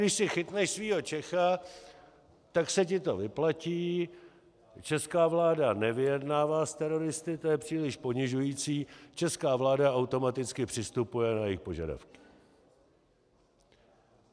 Když si chytneš svého Čecha, tak se ti to vyplatí, česká vláda nevyjednává s teroristy, to je příliš ponižující, česká vláda automaticky přistupuje na jejich požadavky.